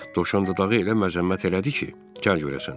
Dovşan Dodağı elə məzəmmət elədi ki, gəl görəsən.